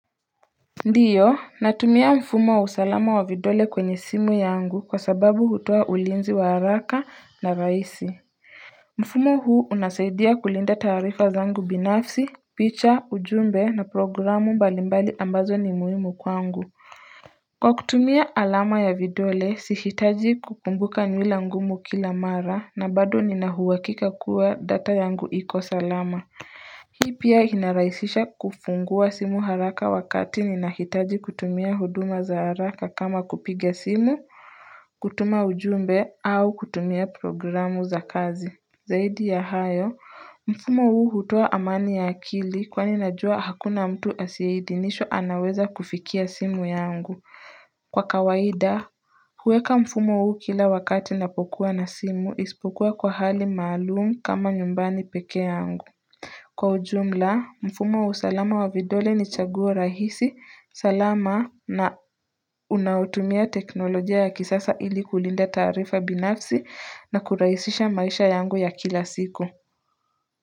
Ndiyo natumia mfumo wa usalama wa vidole kwenye simu yangu kwa sababu hutoa ulinzi wa haraka na rahisi mfumo huu unasaidia kulinda taarifa zangu binafsi picha ujumbe na programu mbali mbali ambazo ni muhimu kwangu kwa kutumia alama ya vidole sihitaji kukumbuka nywila ngumu kila mara na bado nina uhakika kuwa data yangu iko salama pia inarahisisha kufungua simu haraka wakati ninahitaji kutumia huduma za haraka kama kupiga simu, kutuma ujumbe au kutumia programu za kazi. Zaidi ya hayo, mfumo huu hutoa amani ya akili kwani najua hakuna mtu asiyeidhinishwa anaweza kufikia simu yangu. Kwa kawaida, huweka mfumo huu kila wakati napokuwa na simu isipokuwa kwa hali maalum kama nyumbani peke yangu. Kwa ujumla mfumo wa usalama wa vidole ni chaguo rahisi salama na unaotumia teknolojia ya kisasa ili kulinda taarifa binafsi na kurahisisha maisha yangu ya kila siku.